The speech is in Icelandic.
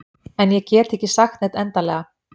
En ég get ekki sagt neitt endanlega.